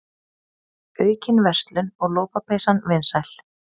Aukin verslun og lopapeysan vinsæl